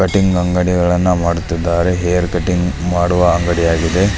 Cutting ಅಂಗಡಿಯನ್ನ ಮಾಡುತ್ತಿದ್ದರೆ hair cutting ಮಾಡುವ ಅಂಗಡಿ ಆಗಿದೆ.